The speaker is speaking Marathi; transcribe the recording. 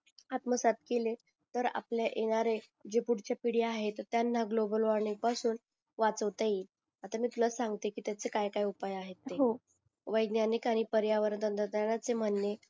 आत्मदसद्ध केले तर आपल्या येणारे जी फूडची पीडी आहे तर त्यांना ग्लोबल वॉर्मिंग पासून वाचवता येईल आता मी तुला सांगते कि त्याचा काय काय उपाय आहेत ते वैद्यानिक आणि पर्यावरण चे म्हणे